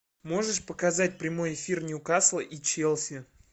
можешь показать прямой эфир ньюкасла и челси